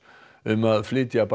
um að flytja